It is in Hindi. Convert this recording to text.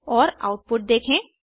और आउटपुट देखें